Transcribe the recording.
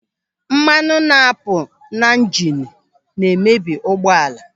Mmanụ na-apụ n'ịjịịnu na-emebi ụgbọala.